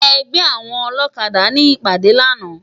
Ègbè áwòn ólókàdá ni ipàdé làná